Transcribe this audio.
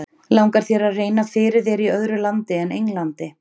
Langar þér að reyna fyrir þér í öðru landi en Englandi?